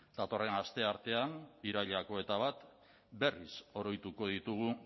datorren asteartean irailak hogeita bat berriz oroituko ditugu